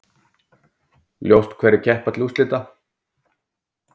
Ljóst hverjir keppa til úrslita